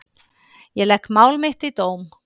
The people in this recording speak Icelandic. Ég legg mál mitt í dóm.